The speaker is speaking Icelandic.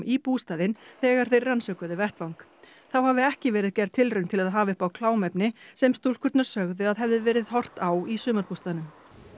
í bústaðinn þegar þeir rannsökuðu vettvang þá hafi ekki verið gerð tilraun til að hafa upp á klámefni sem stúlkurnar sögðu að hefði verið horft á í sumarbústaðnum